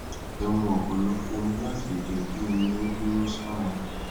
ẹ mu ọpọlọpọ omi láti lè jẹ kí omi ó dúró sára